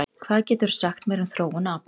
Hvað geturðu sagt mér um þróun apa?